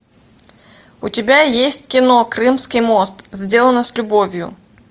у тебя есть кино крымский мост сделано с любовью